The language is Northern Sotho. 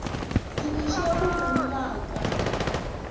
di iše go monna ka